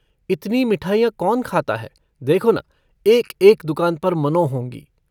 इतनी मिठाइयाँ कौन खाता है देखो न एकएक दूकान पर मनों होंगी।